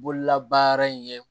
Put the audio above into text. Bololabaara in ye